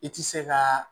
I ti se ka